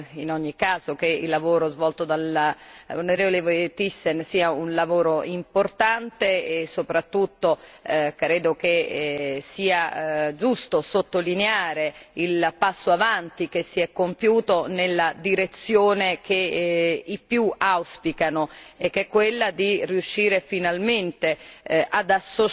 Ritengo, in ogni caso, che il lavoro svolto dall'onorevole Thyssen sia un lavoro importante e soprattutto credo che sia giusto sottolineare il passo in avanti che si è compiuto nella direzione che i più auspicano e che è quella di riuscire finalmente